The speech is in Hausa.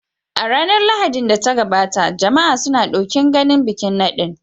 A ranar Lahadin da ta gabata, jama'a suna ɗokin ganin bikin nadin.